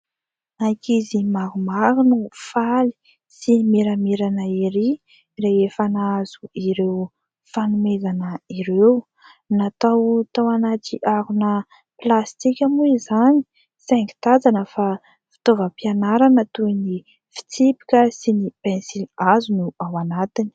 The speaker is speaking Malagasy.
Ankizy maromaro no mifaly sy miramirana erỳ rehefa nahazo ireo fanomezana ireo. Natao tao anaty harona plastika moa izany saingy tazana fa fitaovam-pianarana toy ny fitsipika sy ny pensilihazo no ao anatiny.